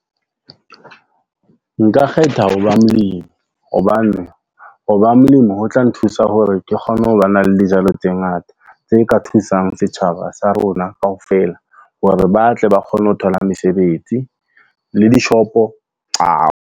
Nka kgetha ho ba molemi. Hobane hoba molemi ho tla nthusa hore ke kgone ho ba na le dijalo tse ngata. Tse ka thusang setjhaba sa rona kaofela, hore ba tle ba kgone ho thola mesebetsi le di-shop-o .